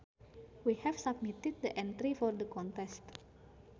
We have submitted the entry for the contest